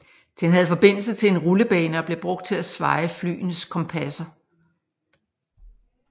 Den havde forbindelse til en rullebane og blev brugt til at svaje flyenes kompasser